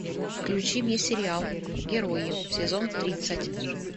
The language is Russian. включи мне сериал герои сезон тридцать